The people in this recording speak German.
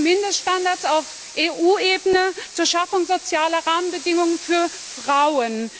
Es geht um Mindeststandards auf EU Ebene zur Schaffung sozialer Rahmenbedingungen für Frauen.